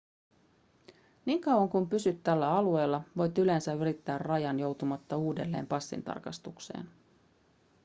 niin kauan kuin pysyt tällä alueella voit yleensä ylittää rajan joutumatta uudelleen passintarkastukseen